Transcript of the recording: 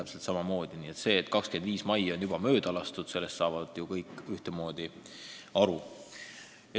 Sellest, et 25. mai on juba mööda lastud, saavad ju kõik ühtemoodi aru.